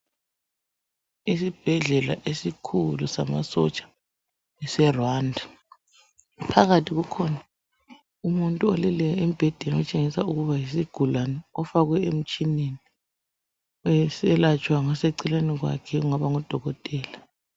Isibhedlela esikhulu samasotsha seRwanda. Phakathi kukhona umuntu oleleyo embhedeni okutshengisa ukuba yisigulane ufakwe emtshineni eselatshwa ngoseceleni kwakhe kungaba ngudokotela